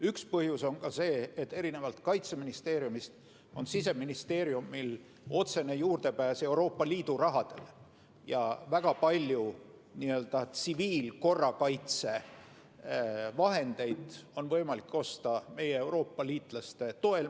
Üks põhjus on see, et erinevalt Kaitseministeeriumist on Siseministeeriumil otsene juurdepääs Euroopa Liidu rahale ja väga palju n-ö tsiviilkorrakaitse vahendeid on võimalik osta meie Euroopa liitlaste toel.